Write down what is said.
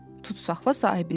Tutsaxla sahibinə dedi.